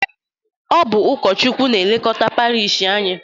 Ọ bụ ụkọchukwu na-elekota parish anyị.